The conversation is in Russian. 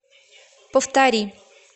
повтори